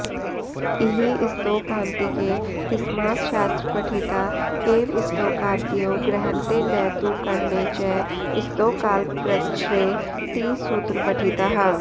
इह स्तोकान्तिके ति समासशास्त्रपठिता एव स्तोकादयो गृह्रन्ते न तु करणे च स्तोकाल्पकृच्छ्रे ति सूत्रपठिताः